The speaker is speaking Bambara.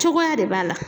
Cogoya de b'a la